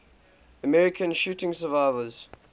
american shooting survivors